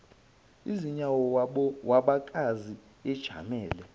izinyawo wabakaza ejamele